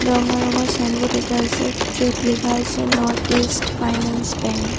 ৰঙা ৰঙৰ ছাইনবোৰ্ড এটা আছে য'ত লিখা আছে নৰ্থ ইষ্ট ফাইনান্স বেংক ।